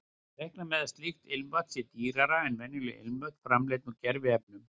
Reikna má með að slíkt ilmvatn sé dýrara en venjuleg ilmvötn framleidd úr gerviefnum.